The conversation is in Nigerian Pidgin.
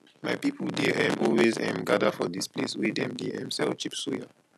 my people dey um always um gather for dis place wey dem dey um sell cheap suya